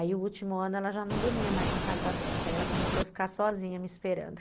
Aí o último ano ela já não dormia mais na casa da Beta, aí ela começou a ficar sozinha me esperando.